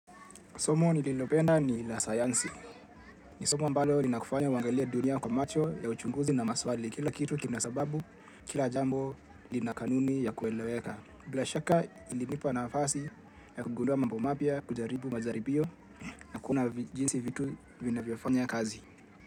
Somo nililopenda ni la science, ni somo ambalo linakufanya wangalia dunia kwa macho ya uchunguzi na maswali kila kitu kina sababu kila jambo lina kanuni ya kueleweka. Bila shaka ilinipa nafasi ya kugundua mambo mapya kujaribu majaribio na kuona jinsi vitu vina viofanya kazi.